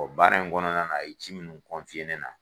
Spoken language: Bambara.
Ɔ baara in kɔnɔna na a ye ci munnu ne na.